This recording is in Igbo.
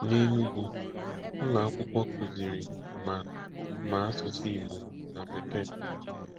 N'Enugwu, ụlọ akwụkwọ kuziri ma ma asụsụ Igbo na Bekee.